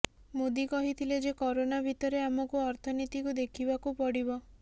ମୋଦୀ କହିଥିଲେ ଯେ କରୋନା ଭିତରେ ଆମକୁ ଅର୍ଥନୀତିକୁ ଦେଖିବାକୁ ପଡ଼ିବ